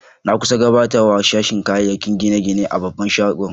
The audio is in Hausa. Na kusa gbatawa a sashin kayakin gine-gine a babban shagon.